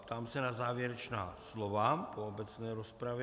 Ptám se na závěrečná slova po obecné rozpravě.